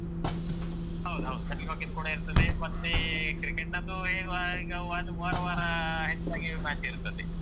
ಹೌದ್‌ಹೌದು. shuttlecock ಅದ್ದು ಕೂಡ ಇರ್ತದೆ ಮತ್ತೆ cricket ನದ್ದು ಹೇಳುವ ಹಾಗೆ ಅದು ವಾರ ವಾರ ಹೆಚ್ಚಾಗಿ match ಇರ್ತದೆ.